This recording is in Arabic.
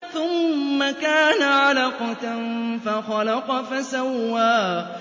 ثُمَّ كَانَ عَلَقَةً فَخَلَقَ فَسَوَّىٰ